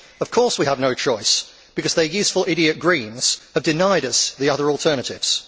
Of course we have no choice, because their useful idiot Greens have denied us the other alternatives.